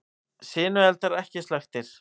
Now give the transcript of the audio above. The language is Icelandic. Sinueldar ekki slökktir